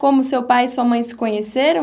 Como seu pai e sua mãe se conheceram?